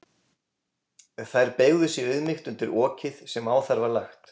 Þær beygðu sig í auðmýkt undir okið sem á þær var lagt.